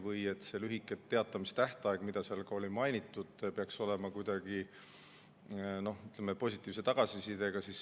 Või kas see lühike etteteatamistähtaeg, mida seal oli mainitud, peaks olema kuidagi positiivse tagasisidega?